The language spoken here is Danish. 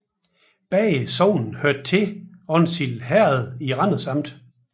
Begge sogne hørte til Onsild Herred i Randers Amt